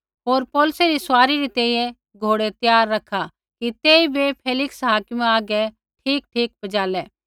होर पौलुसै री सवारी री तैंईंयैं घोड़ै त्यार रखा कि तेइबै फेलिक्स हाकिमा हागै ठीकठाक पजालै